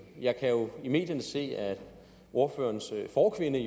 jeg kan jo i medierne se at ordførerens forkvinde